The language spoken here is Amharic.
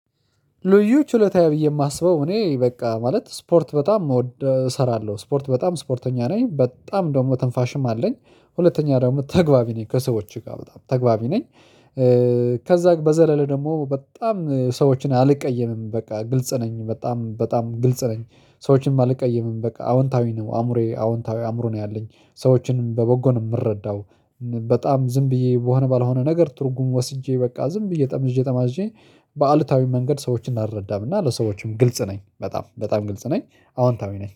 ልዩ ችሎታዬ ብዬ የማስበው እኔ በቃ ማለት ስፖርት በጣም ምወድ እሰራለሁ፣ ስፖርት በጣም ስፖርተኛ ነኝ፣ በጣም ደግሞ ትንፋሽም አለኝ። ሁለተኛ ደግሞ ተግባቢ ነኝ፣ ከሰዎች ጋር በጣም ተግባቢ ነኝ። ከዚያ በዘለለ ደግሞ በጣም ሰዎችን አልቀየምም፤ በቃ ግልጽ ነኝ፣ በጣም በጣም ግልጽ ነኝ። ሰዎችንም አልቀይም፣ በቃ አወንታዊ ነው አእምሮዬ፣ አወንታዊ አእምሮ ነው ያለኝ። ሰዎችንም በበጎ ነው የምረዳው በጣም ዝም ብዬ በሆነ ባልሆነ ነገር ትርጉም ወስጄ በቃ ጠምዤ ጠማዝዤ በአሉታዊ መንገድ ሰዎችን አልረዳም እና ለሰዎችም ግልጽ ነኝ በጣም ግልጽ ነኝ በጣም በጣም ግልጽ ነኝ አዎንታዊ ነኝ።